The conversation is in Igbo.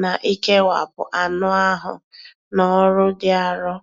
na ikewapụ anụ ahụ na ọrụ dị arọ.